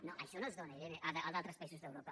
no això no es dóna irene a d’altres països d’europa